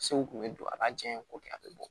Sew kun bɛ don a b'a janya ko kɛ a bɛ bɔ